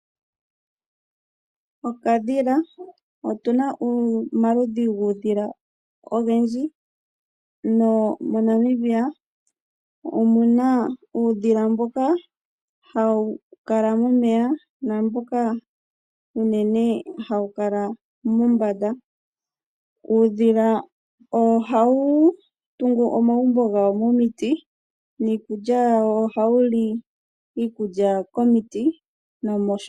Okadhila, otuna omaludhi gudhila pamaludhi gaayoloka monamibia . Monamibia omuna uudhila mboka hawu kala momeya namboka uunene hawu kala mombanda .uudhila ohawu tungu omagumbo gawo momiti nohawu li okulya yawo momiti.